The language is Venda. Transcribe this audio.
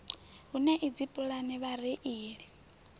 hu na idzi pulani vhareili